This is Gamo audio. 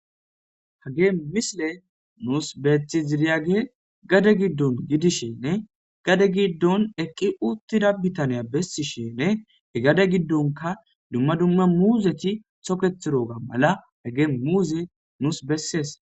Hagey misiley nuusi betiyagey gade giddon gidishn gaddw gidon eqi utida bitaney beetishn , he gadenka dumma dumma muuzeti toketidiga mala hegey muuze nuusi besesi.